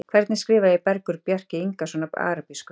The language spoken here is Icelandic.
Hvernig skrifa ég Bergur Bjarki Ingason á arabísku?